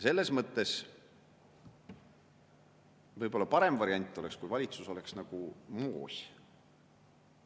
Selles mõttes võib-olla parem variant oleks, kui valitsus oleks nagu moos.